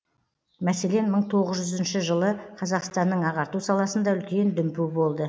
мәселен мың тоғыз жүз үшінші жылы қазақстанның ағарту саласында үлкен дүмпу болды